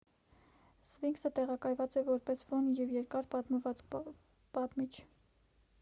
սվինքսը տեղակայված է որպես ֆոն և երկար պատմվածքի պատմիչ